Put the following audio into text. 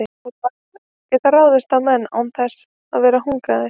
úlfar geta ráðist á menn án þess að vera hungraðir